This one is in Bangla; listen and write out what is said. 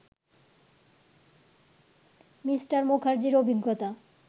মি. মুখার্জির অভিজ্ঞতা